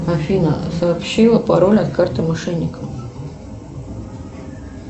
афина сообщила пароль от карты мошенникам